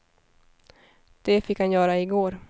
Det fick han göra i går.